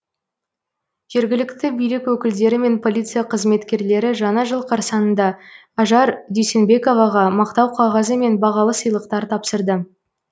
жергілікті билік өкілдері мен полиция қызметкерлері жаңа жыл қарсаңында ажар дүйсенбековаға мақтау қағазы мен бағалы сыйлықтар тапсырды